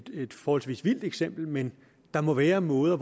et forholdsvis vildt eksempel men der må være måder